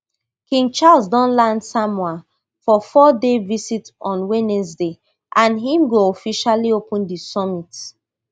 king charles don land samoa for fourday visit on wednesday and im go officially open di summit